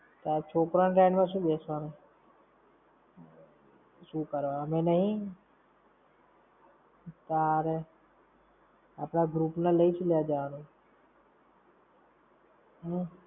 છોકરાઓ ની rides માં શું બેસવાનું? શું કરવા, અમે નહીં. તારે. આપણા group ને લઇ શું લેવા જવાનું?